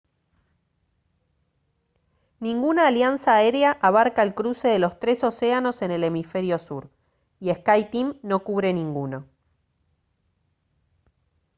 ninguna alianza aérea abarca el cruce de los tres océanos en el hemisferio sur y skyteam no cubre ninguno